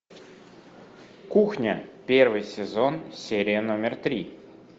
кухня первый сезон серия номер три